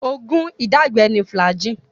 Oògún ìdágbẹ ni Flagyl.